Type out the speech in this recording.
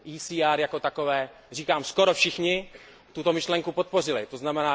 ECR jako takové, říkám, skoro všichni tuto myšlenku podpořili, tzn.